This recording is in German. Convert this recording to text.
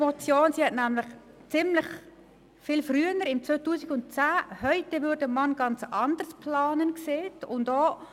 Sie sagte 2010: «Heute würde man ganz anders planen.» und auch: